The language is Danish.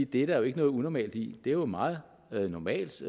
det er der jo ikke noget unormalt i det er jo meget normalt